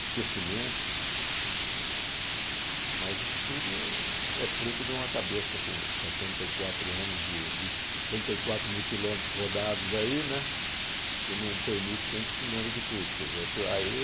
esquecimentos, mas isso tudo é fruto de uma cabeça com setenta e quatro anos de de setenta e quatro mil quilômetros rodados aí, né, que não permite que a gente se lembre de tudo. Quer dizer